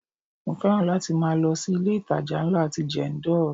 Mo fẹ́ràn láti máa lọ sí ilé itàjà ńlá ti Jendol.